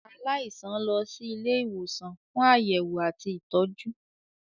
Aláìsàn lọ sì Ilé ìwòsàn fún Àyẹwò àti ìtọjú.